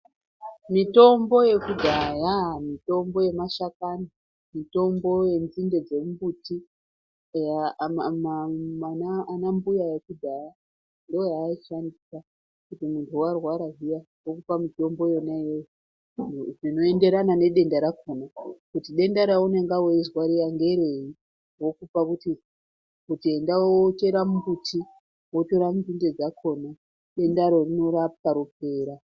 Mitombo yekudhaya mitombo yemashakani mitombo yenzinde dzemumbuti eya anambuya ekudhaya ndiyo yaiishandisa kuti munhu warwara zviya vokupa mitombo yona iyoyona zvinoenderana nedenda rakona kuti denda reunenge wezwa riya ngerenyi vokupa kuti enda wochera mumbuti wotora nzinde dzakona dendaro rinorapwa ropera.